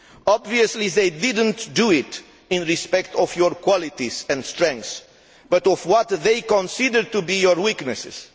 Obviously, they did not do so out of respect for your qualities and strengths, but for what they consider to be your weaknesses.